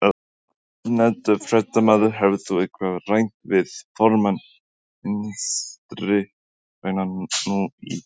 Ónefndur fréttamaður: Hefur þú eitthvað rætt við formann Vinstri-grænna nú í dag?